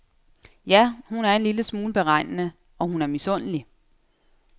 Ja, hun er en lille smule beregnende, og hun er misundelig.